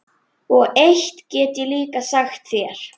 Og eitt get ég líka sagt þér